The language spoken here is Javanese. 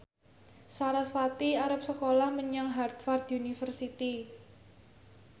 sarasvati arep sekolah menyang Harvard university